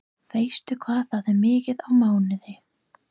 Veistu hvað það er mikið á mánuði?